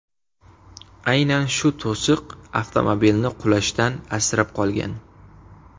Aynan shu to‘siq avtomobilni qulashdan asrab qolgan.